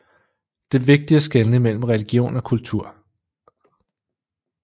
Det er vigtigt at skelne mellem religion og kultur